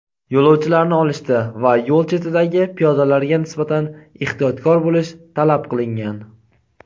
yo‘lovchilarni olishda va yo‘l chetidagi piyodalarga nisbatan ehtiyotkor bo‘lish talab qilingan.